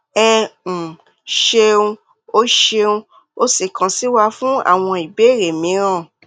ẹ um ṣeun o ṣeun o sì kàn sí wa fún àwọn ìbéèrè mìíràn